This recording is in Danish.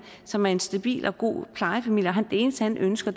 som er en stabil og god plejefamilie og det eneste han ønsker